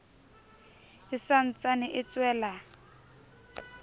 e sa ntsane e tswela